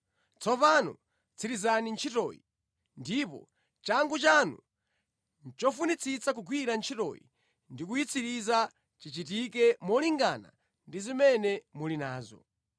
Tsopano tsirizani ntchitoyi, ndipo changu chanu chofunitsitsa kugwira ntchitoyi ndi kuyitsiriza chichitike molingana ndi zimene muli nazo.